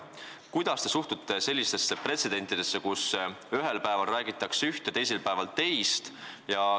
Kuidas te suhtute sellesse, kui ühel päeval räägitakse üht ja teisel päeval teist?